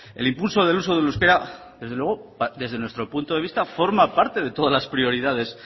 el impulso del uso del euskera desde luego desde nuestro punto de vista forma parte de todas las prioridades